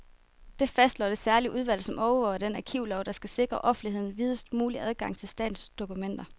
Det fastslår det særlige udvalg, som overvåger den arkivlov, der skal sikre offentligheden videst mulig adgang til statens dokumenter.